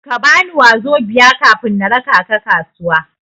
Kabani 'wazobia' kafin na raka ka kasuwa.